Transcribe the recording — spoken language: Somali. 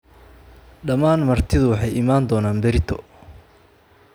Dhammaan martidu waxay iman doonaan berrito